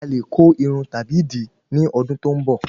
Alè ko Irun tàbí di ni ọdún tó ń bọ